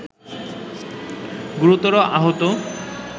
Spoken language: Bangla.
গুরুতর আহত